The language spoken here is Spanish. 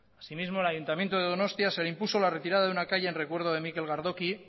así mismo al ayuntamiento de donostia se le impuso la retirada de una calle en recuerdo de mikel gardoki